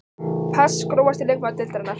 pass Grófasti leikmaður deildarinnar?